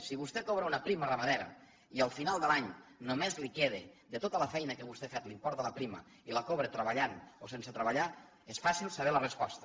si vostè cobra una prima ramadera i al final de l’any només li queda de tota la feina que vostè ha fet l’import de la prima i la cobra treballant o sense treballar és fàcil saber la resposta